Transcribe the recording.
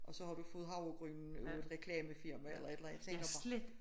Og så har du fået havregrynen af et reklamefirma eller et eller andet jeg tænker bare